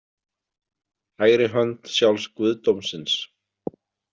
Hægri hönd sjálfs guðdómsins.